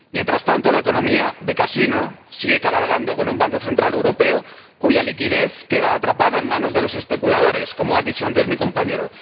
Mientras tanto, la economía de casino sigue cabalgando con un Banco Central Europeo cuya liquidez queda atrapada en manos de los especuladores, como ha dicho antes mi compañero.